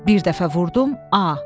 Bir dəfə vurdum A.